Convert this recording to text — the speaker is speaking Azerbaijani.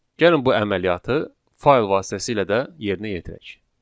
Gəlin bu əməliyyatı fayl vasitəsilə də yerinə yetirək.